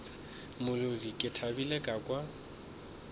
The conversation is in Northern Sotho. molodi ke thabile ka kwa